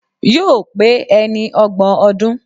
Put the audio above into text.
Yóò pé ẹni ọgbọ̀n ọdún